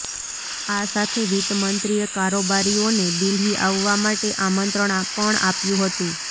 આ સાથે વિત્ત મંત્રીએ કારોબારીઓને દિલ્હી આવવા માટે આમંત્રણ પણ આપ્યું હતું